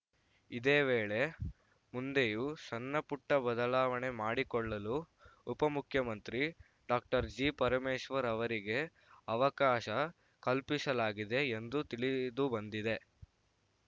ಇದೇ ವೇಳೆ ಮುಂದೆಯೂ ಸಣ್ಣ ಪುಟ್ಟಬದಲಾವಣೆ ಮಾಡಿಕೊಳ್ಳಲು ಉಪಮುಖ್ಯಮಂತ್ರಿ ಡಾಕ್ಟರ್ ಜಿಪರಮೇಶ್ವರ್‌ ಅವರಿಗೆ ಅವಕಾಶ ಕಲ್ಪಿಸಲಾಗಿದೆ ಎಂದು ತಿಳಿದಿದುಬಂದಿದೆ